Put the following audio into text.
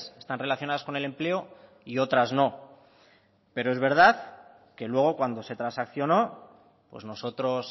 están relacionadas con el empleo y otras no pero es verdad que luego cuando se transaccionó pues nosotros